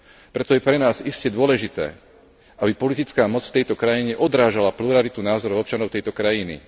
Preto je pre nás iste dôležité, aby politická moc v tejto krajine odrážala pluralitu názorov občanov tejto krajiny.